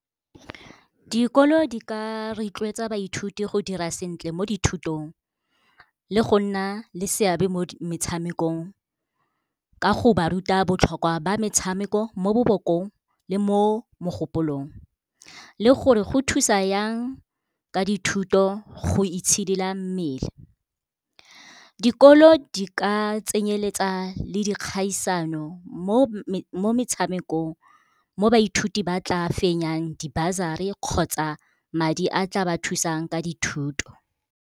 Dikolo di ka rotloetsa baithuti go dira sentle mo dithutong, le go nna le seabe mo metshamekong ka go ba ruta botlhokwa ba metshameko mo bolokong le mo mogopolong. Le gore go thusa yang ka dithuto go itshidila mmele, dikolo di ka tsenyeletsa le dikgaisano mo metshamekong mo baithuti ba tla fenyang di-bursary kgotsa madi a tla ba thusang ka dithuto.